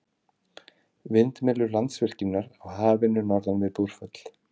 Vindmyllur Landsvirkjunar á Hafinu norðan við Búrfell.